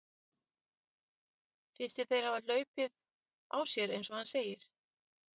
Finnst þér þeir hafa hlaupið á sér eins og hann segir?